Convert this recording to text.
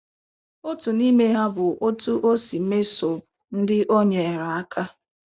Otu n’ime ha bụ otú o si mesoo ndị o nyeere aka.